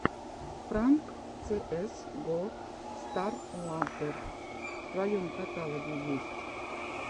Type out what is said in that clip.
пранк цеэс го старладдер в твоем каталоге есть